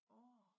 Åh